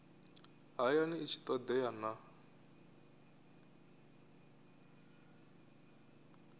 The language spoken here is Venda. hayani i tshi todea na